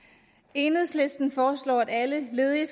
enhedslisten foreslår at alle ledige